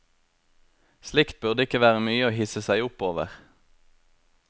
Slikt burde ikke være mye å hisse seg opp over.